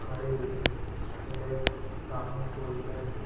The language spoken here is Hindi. खड़े हुए और एक सामने फोर व्हीलर है।